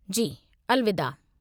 जी, अलविदा।